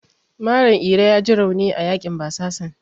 Malam Iro yaji rauni a yaƙin basasan.